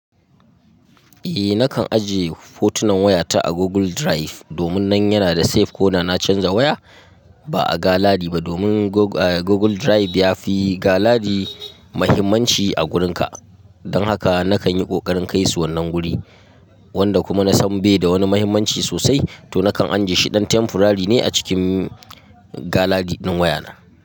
Eh nakan ajiye fotunan wayata a Google Drive domin nan yana da safe ko da na canza waya. Ba a galadi ba domin Google Drive yafi galadi muhimmanci a wurinka. Don haka nakan yi ƙoƙarin kai su wannan guri wanda kuma na san bai da wani muhimmanci sosai to nakan anji shi ɗan temporary ne a cikin galadi ɗin wayana.